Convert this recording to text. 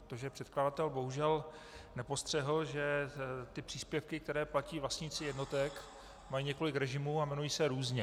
Protože předkladatel bohužel nepostřehl, že ty příspěvky, které platí vlastníci jednotek, mají několik režimů a jmenují se různě.